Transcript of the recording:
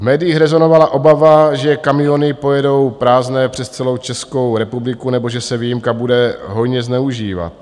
V médiích rezonovala obava, že kamiony pojedou prázdné přes celou Českou republiku nebo že se výjimka bude hojně zneužívat.